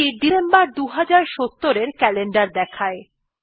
এইটি December ২০৭০ এর calendar দেখায়